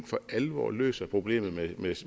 for alvor løser problemet med